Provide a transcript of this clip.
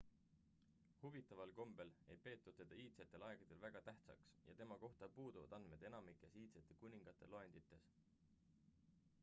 huvitaval kombel ei peetud teda iidsetel aegadel väga tähtsaks ja tema kohta puuduvad andmed enamikes iidsete kuningate loendites